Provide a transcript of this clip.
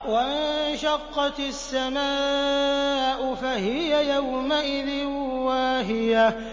وَانشَقَّتِ السَّمَاءُ فَهِيَ يَوْمَئِذٍ وَاهِيَةٌ